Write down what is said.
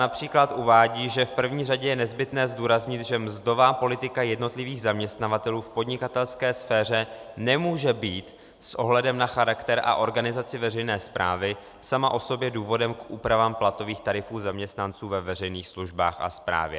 Například uvádí, že v první řadě je nezbytné zdůraznit, že mzdová politika jednotlivých zaměstnavatelů v podnikatelské sféře nemůže být s ohledem na charakter a organizaci veřejné správy sama o sobě důvodem k úpravám platových tarifů zaměstnanců ve veřejných službách a správě.